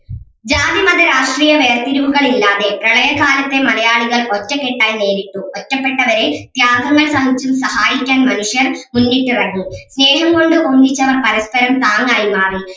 ജാതി മത രാഷ്ട്രീയ വേർതിരിവുകൾ ഇല്ലാതെ പ്രളയ കാലത്തെ മലയാളികൾ ഒറ്റക്കെട്ടായി നേരിട്ടു ഒറ്റപ്പെട്ടവരേയും ത്യാഗങ്ങൾ സഹിച്ചും സഹായിക്കാൻ മനുഷ്യൻ മുന്നിട്ടിറങ്ങി സ്നേഹം കൊണ്ടും ഒന്നിച്ചവർ പരസ്പരം താങ്ങായി മാറി